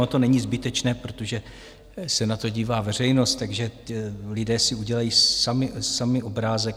Ono to není zbytečné, protože se na to dívá veřejnost, takže lidé si udělají sami obrázek.